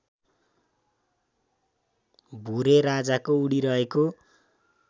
भुरेराजाको उडिरहेको